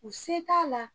U se t'a la